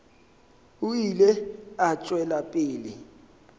o ile a tšwela pele